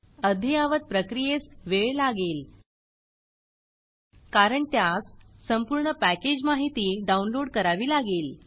अद्ययावत प्रक्रियेस वेळ लागेल कारण त्यास संपूर्ण पॅकेज माहिती डाउनलोड करावी लागेल